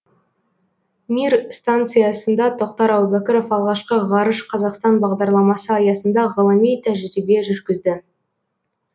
мир станциясында тоқтар әубәкіров алғашқы ғарыш қазақстан бағдарламасы аясында ғылыми тәжірибе жүргізді